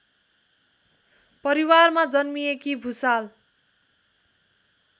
परिवारमा जन्मिएकी भुसाल